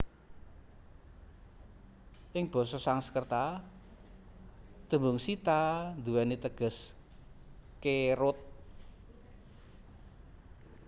Ing basa Sansekerta tembung Sita nduweni teges kerut